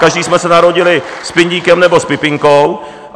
Každý jsme se narodili s pindíkem nebo s pipinkou.